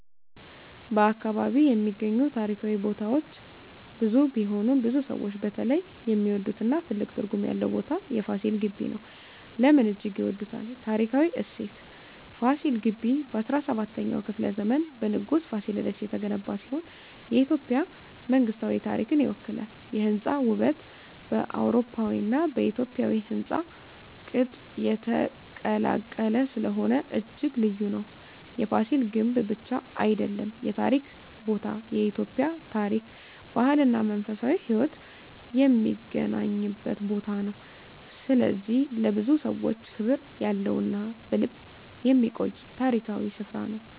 በ አካባቢ የሚገኙ ታሪካዊ ቦታዎች ብዙ ቢሆኑም፣ ብዙ ሰዎች በተለይ የሚወዱትና ትልቅ ትርጉም ያለው ቦታ የFasil Ghebbi (ፋሲል ግቢ) ነው። ለምን እጅግ ይወዳል? ታሪካዊ እሴት: ፋሲል ግቢ በ17ኛው ክፍለ ዘመን በንጉሥ Fasilides የተገነባ ሲሆን፣ የኢትዮጵያ መንግሥታዊ ታሪክን ይወክላል። የሕንፃ ውበት: በአውሮፓዊና በኢትዮጵያዊ ሕንፃ ቅጥ የተቀላቀለ ስለሆነ እጅግ ልዩ ነው። የፍሲል ግምብ ብቻ አይደለም የታሪክ ቦታ፤ የኢትዮጵያ ታሪክ፣ ባህል እና መንፈሳዊ ሕይወት የሚገናኝበት ቦታ ነው። ስለዚህ ለብዙ ሰዎች ክብር ያለው እና በልብ የሚቆይ ታሪካዊ ስፍራ ነው።